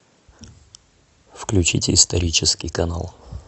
включите исторический канал